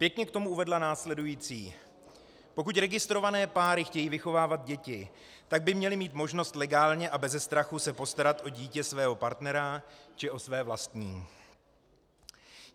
Pěkně k tomu uvedla následující: Pokud registrované páry chtějí vychovávat děti, tak by měly mít možnost legálně a beze strachu se postarat o dítě svého partnera či o své vlastní.